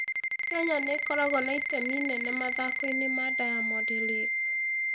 Kenya nĩ ĩkoragwo na itemi inene mathako-inĩ ma Diamond League.